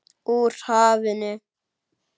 Úr hafinu.